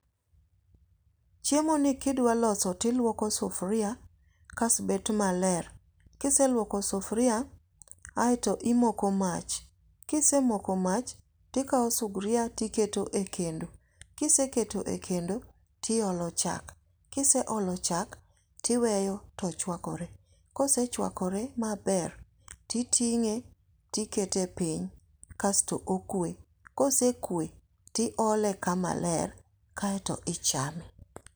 Chiemo ni kidwa loso tiluoko sufuria kasto bet maler. kiseluoko sufria, aeto imoko mach. kisemoko mach, tikao sugria tiketo e kendo. kiseketo e kendo, tiolo chak. Kiseolo chak, tiweyo to chuakore. kosechuakore maber, ti ting'e tikete piny kasto okue. kosekue, tiole kama ler, kaeto ichame.